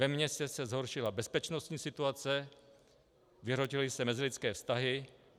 Ve městě se zhoršila bezpečnostní situace, vyhrotily se mezilidské vztahy.